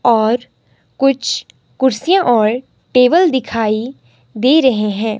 और कुछ कुर्सियां और टेबल दिखाई दे रहे हैं।